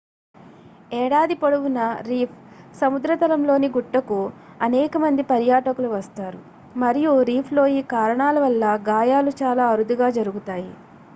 ఏడాది పొడవునా రీఫ్‌సముద్రతలంలోని గుట్టకు అనేక మంది పర్యటకులు వస్తారు మరియు రీఫ్‌లో ఈ కారణాల వల్ల గాయాలు చాలా అరుదుగా జరుగుతాయి